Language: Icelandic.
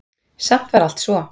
Samt var allt svo